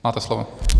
Máte slovo.